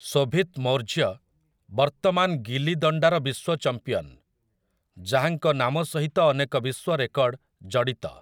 ଶୋଭିତ୍ ମୌର୍ଯ୍ୟ ବର୍ତ୍ତମାନ ଗିଲି ଦଣ୍ଡାର ବିଶ୍ୱ ଚମ୍ପିୟନ୍, ଯାହାଙ୍କ ନାମ ସହିତ ଅନେକ ବିଶ୍ୱ ରେକର୍ଡ ଜଡ଼ିତ ।